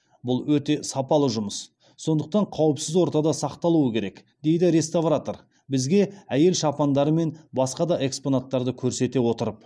бұл өте сапалы жұмыс сондықтан қауіпсіз ортада сақталуы керек дейді реставратор бізге әйел шапандары мен басқа да экспонаттар көрсете отырып отыр